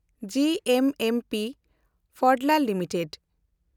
G M M Pfaudler limited